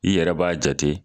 I yɛrɛ b'a jate